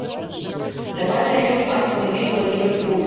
давай найдем астон вилла ливерпуль